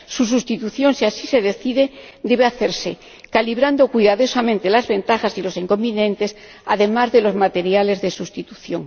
Su sustitución, si así se decide, debe hacerse calibrando cuidadosamente las ventajas y los inconvenientes, además de los materiales de sustitución.